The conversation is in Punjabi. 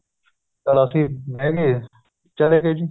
ਚਲੋ ਅੱਸੀ ਬੇਹ ਗਏ ਚਲੇ ਗਏ ਜ਼ੀ